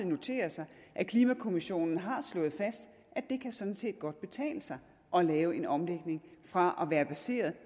notere sig at klimakommissionen har slået fast at det sådan set godt kan betale sig at lave en omlægning fra at basere